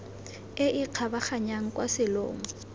e e kgabaganyang kwa selong